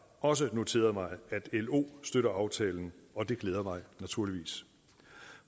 også noteret mig at lo støtter aftalen og det glæder mig naturligvis